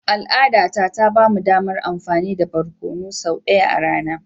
Al'adata ta ba mu damar amfani da barkonu sau ɗaya a rana.